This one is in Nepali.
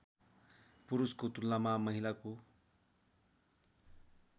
पुरुषको तुलनामा महिलाको